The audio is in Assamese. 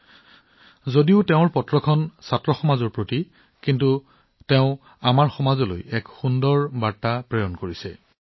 তেওঁৰ পত্ৰখন যদিও কেৱল শিক্ষাৰ্থীসকলৰ বাবেহে কিন্তু তেওঁ আমাৰ সমগ্ৰ সমাজলৈ বাৰ্তাটো প্ৰেৰণ কৰিছে